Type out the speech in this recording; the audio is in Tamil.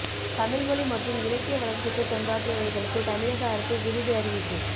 தமிழ் மொழி மற்றும் இலக்கிய வளர்ச்சிக்கு தொண்டாற்றியவர்களுக்கு தமிழக அரசு விருது அறிவிப்பு